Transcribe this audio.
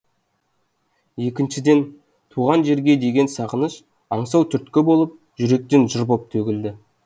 екіншіден туған жерге деген сағыныш аңсау түрткі болып жүректен жыр боп төгілді